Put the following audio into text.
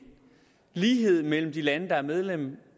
lighed mellem de lande der er medlem